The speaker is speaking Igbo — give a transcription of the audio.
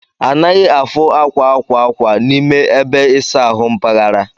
Anaghị afu akwa akwa akwa n'ime ebe isa ahụ mpaghara.